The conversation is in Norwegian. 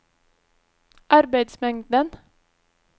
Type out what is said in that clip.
arbeidsmengden